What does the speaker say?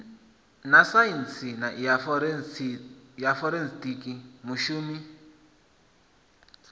na saintsi ya forensikhi mushumi